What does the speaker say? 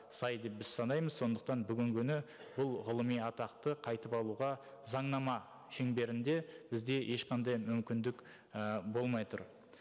сай деп біз санаймыз сондықтан бүгінгі күні бұл ғылыми атақты қайтып алуға заңнама шеңберінде бізде ешқандай мүмкіндік і болмай тұр